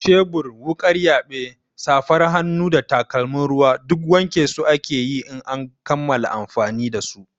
Shebur, wuƙar yaɓe, safar hannu da takalmin ruwa duk wanke su ake yi in an kammala amfani da su.